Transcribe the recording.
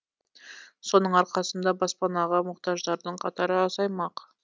соның арқасында баспанаға мұқтаждардың қатары азаймақ